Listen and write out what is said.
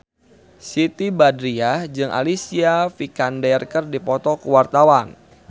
Siti Badriah jeung Alicia Vikander keur dipoto ku wartawan